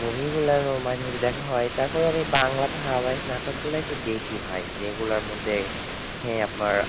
movie গুলো মাঝে মাঝে দেখা হয় তারপর আমি বাংলাতে ধারাবাহিক নাটকগুলা একটু দেখি ভাই যেগুলোর মধ্যে হ্যাঁ আপনার,